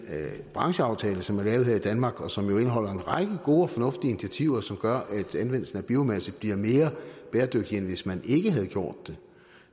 brancheaftale som er lavet her i danmark og som indeholder en række gode og fornuftige initiativer som gør at anvendelsen af biomasse bliver mere bæredygtig end hvis man ikke havde gjort det